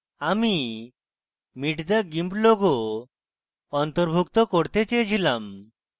আমি meet the gimp logo অন্তর্ভুক্ত করতে চেয়েছিলাম